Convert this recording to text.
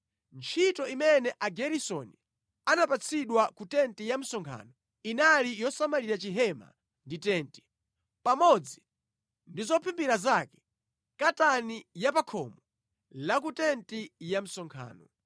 Ntchito imene Ageresoni anapatsidwa ku tenti ya msonkhano inali yosamalira Chihema ndi tenti, pamodzi ndi zophimbira zake, katani ya pa khomo la ku tenti ya msonkhano,